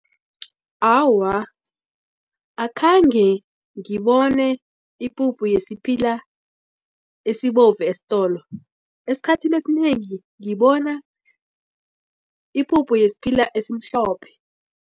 Awa, akhange ngibone ipuphu yesiphila esibovu esitolo esikhathini esinengi ngibona ipuphu yesiphila esimhlophe.